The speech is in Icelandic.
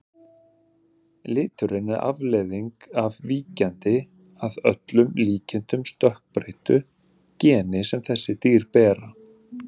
Liturinn er afleiðing af víkjandi, að öllum líkindum stökkbreyttu, geni sem þessi dýr bera.